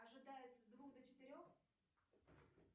ожидается с двух до четырех